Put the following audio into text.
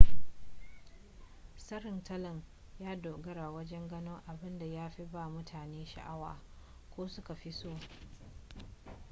tsarin tallan ya dogara wajen gano abinda ya fi ba mutane sha'awa ko su ka fi so